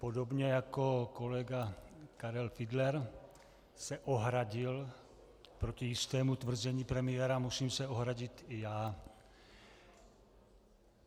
Podobně jako kolega Karel Fiedler se ohradil proti jistému tvrzení premiéra, musím se ohradit i já.